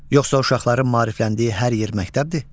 Yoxsa uşaqların maarifləndiyi hər yer məktəbdir?